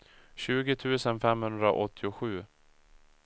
tjugo tusen femhundraåttiosju